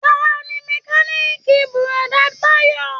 Tani mẹ̀kániikí búrọ̀da Tayo?